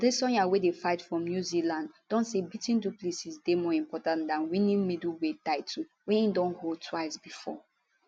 adesanya wey dey fight from new zealand don say beating du plessis dey more important dan winning middleweight title wey e don hold twice bifor